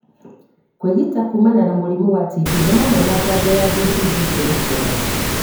Kwĩgita kũmana na mũrimũ wa TB nĩ hamwe na njanjo ya BCG kũrĩ ciana.